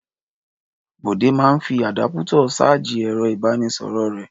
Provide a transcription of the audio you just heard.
Bọ̀dé máa ń fi àdápútọ̀ ṣájì ẹ̀rọ-ìbánisọ̀rọ̀ rẹ̀.